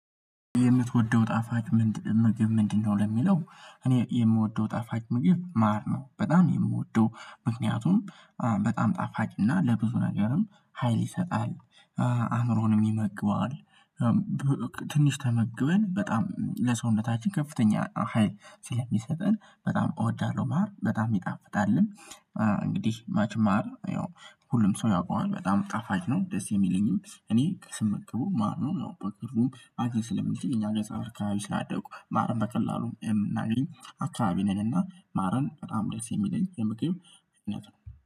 የምትወደው ጣፋጭ ምንድነው? ለሚለው እኔ የምወደው ጣፋጭ ምግብ ማር ነው በጣም የምወደው ምክንያቱም በጣም ጣፋጭና ለብዙ ነገርም ሀይል ይሰጣል አእምሮንም የሚመግበዋል። ትንሽ ተመግበን በጣም ለሰውነታችን ከፍተኛ ሀይል ስለሚሰጠን በጣም እወዳለሁ ማር በጣም ይጣፍጣልም። እንግዲህ ማች ማር ያው ሁሉም ሰው ያውቀዋል በጣም ጣፋጭ ነው ደስ የሚለኝም እኔ ስመገበው ማር ነው። ያው በቅርቡ አጄ ስለሚችል አከባቢ ስላደኩ ማርን በቀላሉ የምናገኝ አካባቢ ነን። እና ማርን በጣም ደስ የሚለኝ የምግብ አይነት ነው